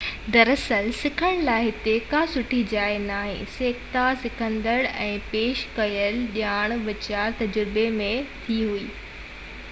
در اصل سکڻ لاءِ هتي ڪا سٺي شيءِ ناهي سکيا سکندڙ ۽ پيش ڪيل ڄاڻ وچان تجربي ۾ ٿئي ٿي